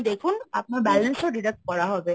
দেখুন আপনার balance ও deduct করা হবে।